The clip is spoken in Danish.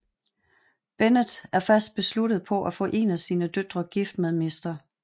Bennet er fast besluttet på at få en af sine døtre gift med mr